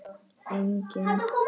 Enginn komst af.